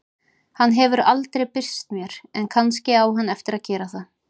Hann hefur aldrei birst mér en kannski á hann eftir að gera það.